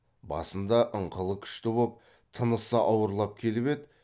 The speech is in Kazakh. басында ыңқылы күшті боп тынысы ауырлап келіп еді